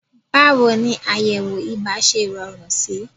Báwo ni àyẹ̀wò ibà ṣe rọrùn sí?